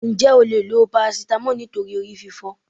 Ǹjẹ́ o leè lo paracetamol nítorí orí fífọ́